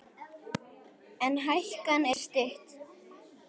En hækan er stutt.